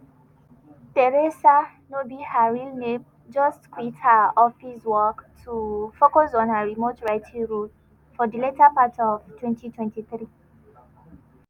theresa (no be her real name) just quit her office work to focus on her remote writing role for di later part of 2023.